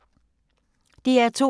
DR2